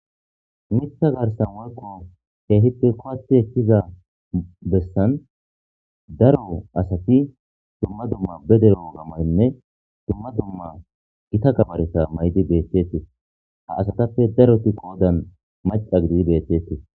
mitha garsan woykko keehippe kowati ekkiza bessan daro asati dumma dumma be dere woga mayonne dumma dumma gita gabareta maydi beetetesil ha asatappe daroti qoodan maca gidii beetetes